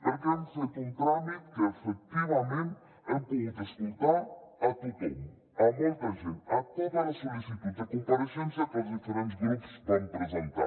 perquè hem fet un tràmit en que efectivament hem pogut escoltar a tothom molta gent totes les sol·licituds de compareixença que els diferents grups van presentar